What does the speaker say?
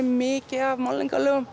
mikið af